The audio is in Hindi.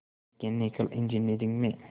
मैकेनिकल इंजीनियरिंग में